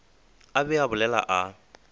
a be a bolela a